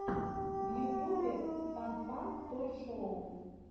в ютубе фан фан той шоу